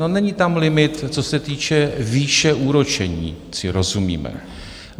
No není tam limit, co se týče výše úročení, ať si rozumíme.